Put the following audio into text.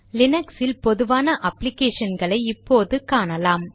லீனக்ஸில் பொதுவான அப்ளிகேஷன் களை இப்போது காணலாம்